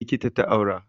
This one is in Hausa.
Likita ta aura